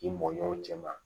K'i mɔɲɔw cɛ ma